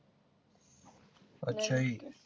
ਅੱਛਾ ਜੀ